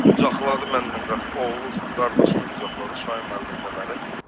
Qucaqladı mənlə, oğlu, qardaşım qucaqladı, Şahin müəllim də məni.